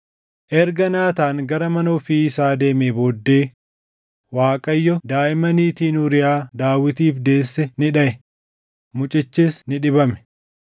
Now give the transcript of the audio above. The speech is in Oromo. Erga Naataan gara mana ofii isaa deemee booddee Waaqayyo daaʼima niitiin Uuriyaa Daawitiif deesse ni dhaʼe; mucichis ni dhibame.